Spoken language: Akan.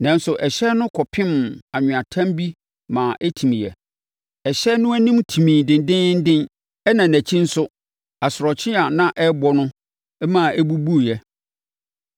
Nanso, ɛhyɛn no kɔpem anweatam bi ma ɛtimiiɛ. Ɛhyɛn no anim timii dendeenden ɛnna nʼakyi no nso, asorɔkye a na ɛrebɔ no no ma ɛbubuiɛ.